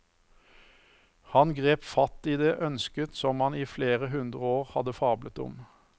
Han grep fatt i det ønsket som man i flere hundre år hadde fablet om.